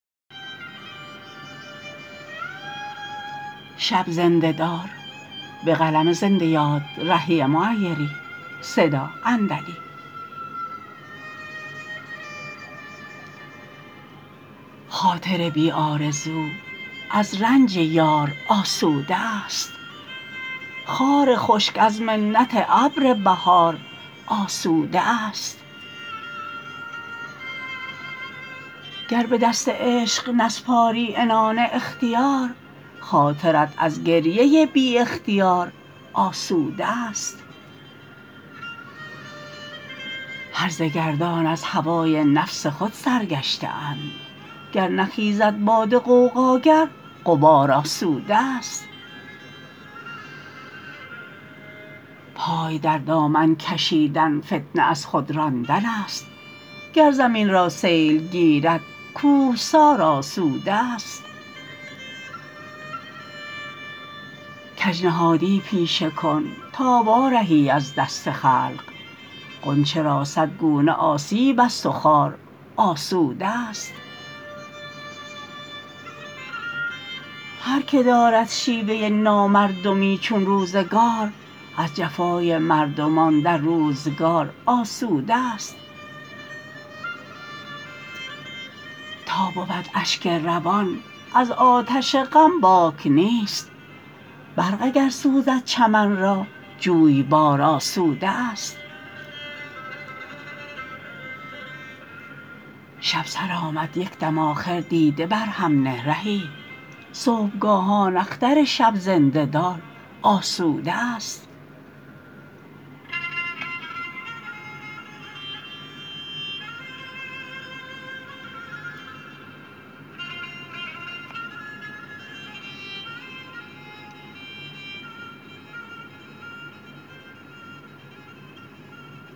خاطر بی آرزو از رنج یار آسوده است خار خشک از منت ابر بهار آسوده است گر به دست عشق نسپاری عنان اختیار خاطرت از گریه بی اختیار آسوده است هرزه گردان از هوای نفس خود سرگشته اند گر نخیزد باد غوغاگر غبار آسوده است پای در دامن کشیدن فتنه از خود راندن است گر زمین را سیل گیرد کوهسار آسوده است کج نهادی پیشه کن تا وارهی از دست خلق غنچه را صد گونه آسیب است و خار آسوده است هرکه دارد شیوه نامردمی چون روزگار از جفای مردمان در روزگار آسوده است تا بود اشک روان از آتش غم باک نیست برق اگر سوزد چمن را جویبار آسوده است شب سرآمد یک دم آخر دیده بر هم نه رهی صبحگاهان اختر شب زنده دار آسوده است